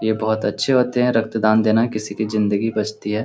ये बहुत अच्छे होते हैं रक्त दान देना किसी की ज़िन्दगी बचती है।